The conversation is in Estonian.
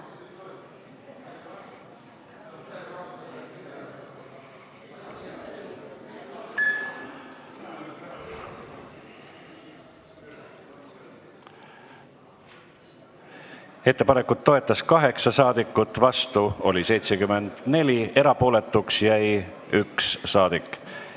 Hääletustulemused Ettepanekut toetas 8 ja vastu oli 74 saadikut, erapooletuks jäi 1 saadik.